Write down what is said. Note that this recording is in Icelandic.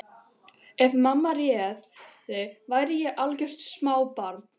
Ef mamma réði væri ég algjört smábarn.